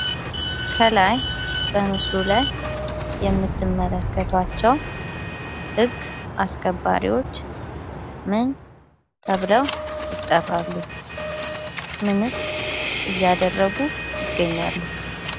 ከላይ በምስሉ ላይ የምትመለከቷቸው ህግ አስከባሪዎች ምን ተብለው ይጠራሉ? ምንስ እያደረጉ ይገኛሉ?